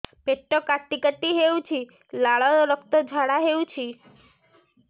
ପେଟ କାଟି କାଟି ହେଉଛି ଲାଳ ରକ୍ତ ଝାଡା ହେଉଛି